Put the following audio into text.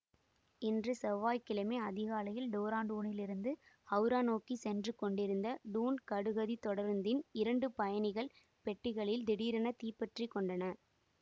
இன்று செவ்வாய் கிழமை அதிகாலையில் டேராடூனில் இருந்து ஹௌரா நோக்கி சென்று கொண்டிருந்த டூன் கடுகதித் தொடருந்தின் இரண்டு பயணிகள் பெட்டிகள் திடீரென தீப்பற்றிக் கொண்டன